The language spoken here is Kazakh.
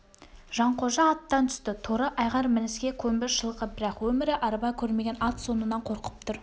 жанқожа аттан түсті торы айғыр мініске көнбіс жылқы бірақ өмірі арба көрмеген ат сонан қорқып тұр